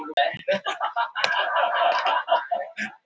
dæmt var fyrir blóðskömm